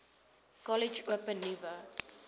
kollege open nuwe